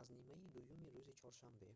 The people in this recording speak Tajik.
аз нимаи дуюми рӯзи чоршанбе